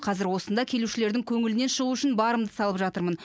қазір осында келушілердің көңілінен шығу үшін барымды салып жатырмын